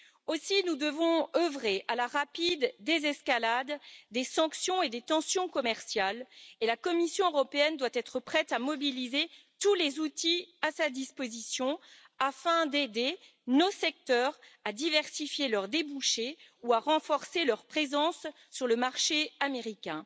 Aussi devons nous œuvrer à la rapide désescalade des sanctions et des tensions commerciales, et la Commission européenne doit être prête à mobiliser tous les outils à sa disposition afin d'aider nos secteurs à diversifier leurs débouchés ou à renforcer leur présence sur le marché américain.